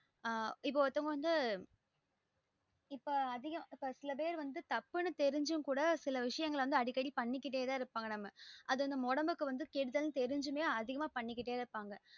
ஆஹ் இப்ப ஒருத்தவங்க வந்து இப்ப அதிகம் சில பேர் வந்து தப்புன்னு தெரிஞ்சுன்னும் கூட சில விஷயங்கள் வந்து அடிக்கடி பண்ணிகிட்டே தா இருப்பாங்க நம்ம அது நம்ம ஒடம்புக்கு கெடுதல் ன்னு தெருஞ்சுமே அதிகமா பண்ணிகிட்டே தா இருப்பாங்க